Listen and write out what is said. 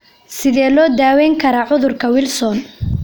Sidee loo daweyn karaa cudurka Wilson?